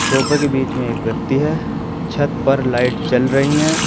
सोफे के बीच में एक व्यक्ति है छत पर लाइट जल रही हैं।